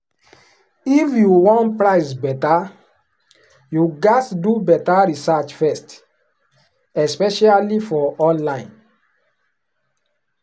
if you wan price better you gats do better research first especially for online.